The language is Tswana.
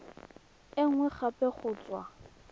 e nngwe gape go tswa